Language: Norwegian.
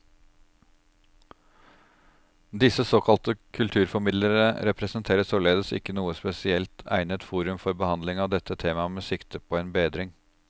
Disse såkalte kulturformidlere representerer således ikke noe spesielt egnet forum for behandling av dette tema med sikte på en bedring.